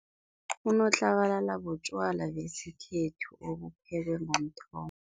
Unotlabalala butjwala besikhethu obuphekwe ngomthombo.